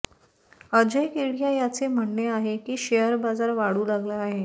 अजय केडिया यांचे म्हणणे आहे की शेअर बाजार वाढू लागला आहे